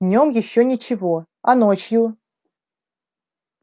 днём ещё ничего а ночью